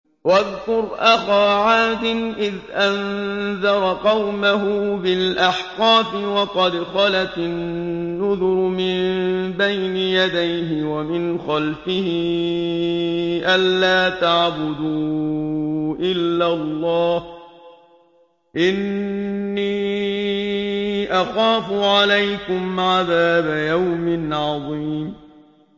۞ وَاذْكُرْ أَخَا عَادٍ إِذْ أَنذَرَ قَوْمَهُ بِالْأَحْقَافِ وَقَدْ خَلَتِ النُّذُرُ مِن بَيْنِ يَدَيْهِ وَمِنْ خَلْفِهِ أَلَّا تَعْبُدُوا إِلَّا اللَّهَ إِنِّي أَخَافُ عَلَيْكُمْ عَذَابَ يَوْمٍ عَظِيمٍ